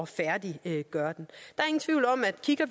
færdiggør den